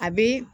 A bi